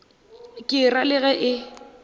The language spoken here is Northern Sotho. ke ra le ge e